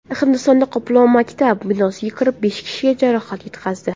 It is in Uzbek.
Hindistonda qoplon maktab binosiga kirib, besh kishiga jarohat yetkazdi .